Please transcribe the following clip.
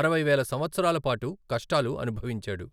అరవై వేల సంవత్సరాల పాటు కష్టాలు అనుభవించాడు.